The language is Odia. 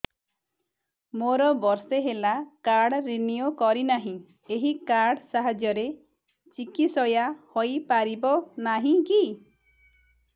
ମୋର ବର୍ଷେ ହେଲା କାର୍ଡ ରିନିଓ କରିନାହିଁ ଏହି କାର୍ଡ ସାହାଯ୍ୟରେ ଚିକିସୟା ହୈ ପାରିବନାହିଁ କି